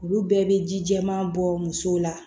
Olu bɛɛ bɛ ji jɛman bɔ muso la